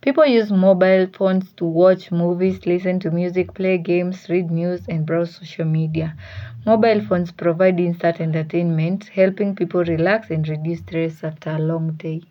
People use mobile phones to watch movies, listen to music, play games, read news and browse social media. Mobile phones provide insert entertainment, helping people relax and reduce stress after a long day.